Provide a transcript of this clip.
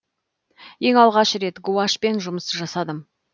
ең алғаш рет гуашьпен жұмыс жасадым